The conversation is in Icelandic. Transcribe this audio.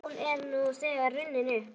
Því hún er nú þegar runnin upp.